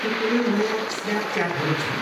के कुनै नयाँ स्न्यापच्याटहरू छन्?